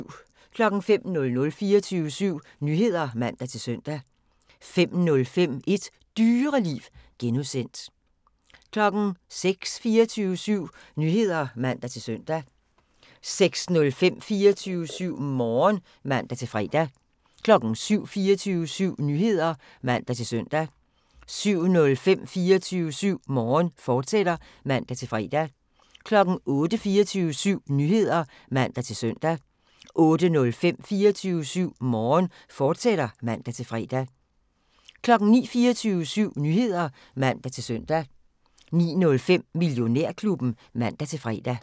05:00: 24syv Nyheder (man-søn) 05:05: Et Dyreliv (G) 06:00: 24syv Nyheder (man-søn) 06:05: 24syv Morgen (man-fre) 07:00: 24syv Nyheder (man-søn) 07:05: 24syv Morgen, fortsat (man-fre) 08:00: 24syv Nyheder (man-søn) 08:05: 24syv Morgen, fortsat (man-fre) 09:00: 24syv Nyheder (man-søn) 09:05: Millionærklubben (man-fre)